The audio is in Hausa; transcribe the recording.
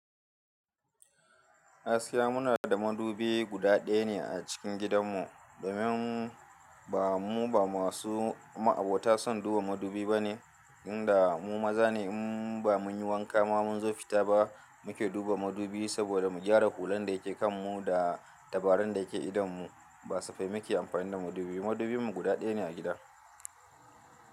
Gaskiya muna da madubi guda ɗaya ne a cikin gidanmu, domin ba mu ba masu ma'abota son duba madubi ba ne, inda mu maza ne in ba mun yi wanka ma mun zo fita ba muke duba madubi saboda mu gyara hulan da yake kan mu da tabarun da yake idonmu. Ba safai muke amfani da madubi. Madubinmu guda ɗaya ne a gida.